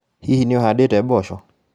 Hihi, nĩũhandĩte mboco?